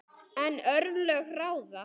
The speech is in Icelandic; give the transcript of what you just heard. En örlög ráða.